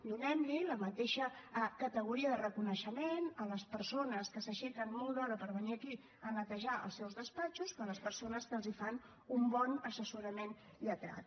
donem li la mateixa categoria de reconeixement a les persones que s’aixequen molt d’hora per venir aquí a netejar els seus despatxos que a les persones que els fan un bon assessorament lletrat